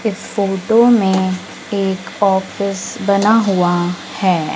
इस फोटो में एक ऑफिस बना हुआ है।